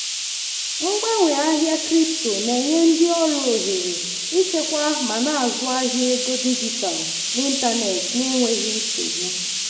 mgbanwe ahịa crypto na-enye ndị ọrụ ohere ịchekwa ma na-azụ ahịa ego dijitalụ n'ịntanetị n'enweghị nsogbu.